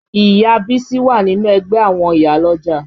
Ìyá Bísí wà nínú ẹgbẹ́ àwọn ìyálọ́jà